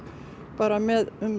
bara með